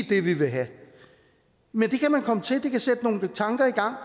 det de vil have men det kan man komme til og det kan sætte nogle tanker i gang